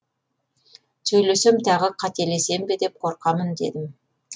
сөйлесем тағы қателесем бе деп қорқамын дедім